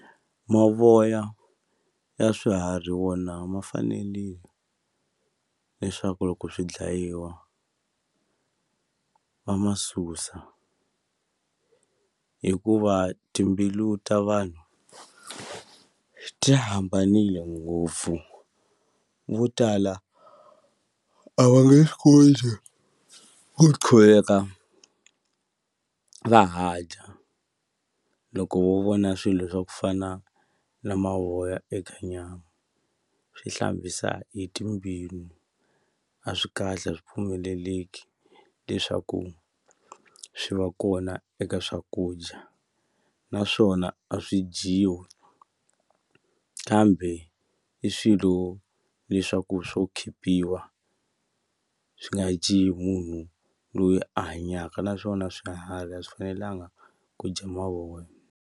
Mavoya ya swiharhi wona ma fanele leswaku loko swi dlayiwa va ma susa hikuva timbilu ta vanhu ti hambanile ngopfu vo tala a va nge swi koti ku qhuveka va ha dya loko wo vona swilo swa ku fana na mavoya eka nyama swi hlambisa i timbilu a swi kahle a swi pfumeleleki leswaku swi va kona eka swakudya naswona a swi dyiwi kambe i swilo leswaku swo khipiwa swi nga dyi hi munhu loyi a hanyaka naswona swiharhi a swi fanelanga ku dya mavoya.